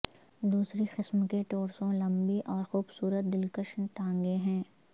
دوسری قسم کے ٹوروسو لمبی اور خوبصورت دلکش ٹانگیں ہیں